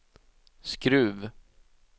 Skruv